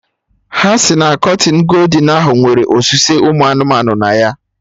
Ha si na kọtịnụ goldin ahụ nwere osuse ụmụ anụmanụ na ya